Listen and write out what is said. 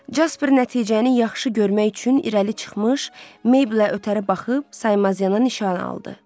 Jasper nəticəni yaxşı görmək üçün irəli çıxmış, Meyblə ötəri baxıb saymaz yana nişan aldı.